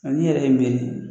Ani yɛrɛ ye